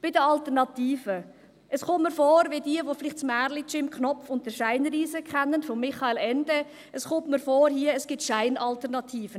Bei den Alternativen: Es kommt mir vor – für jene, die vielleicht das Märchen von «Jim Knopf und der Scheinriese» von Michael Ende kennen – als gäbe es Scheinalternativen.